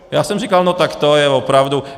Já jsem říkal, no tak to je opravdu.